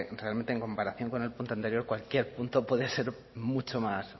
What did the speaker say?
realmente en comparación con el punto anterior cualquier punto puede ser mucho más